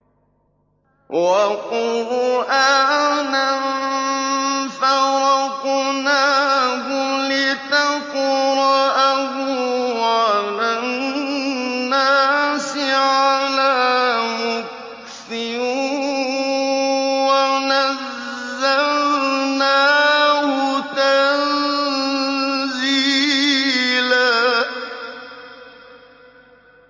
وَقُرْآنًا فَرَقْنَاهُ لِتَقْرَأَهُ عَلَى النَّاسِ عَلَىٰ مُكْثٍ وَنَزَّلْنَاهُ تَنزِيلًا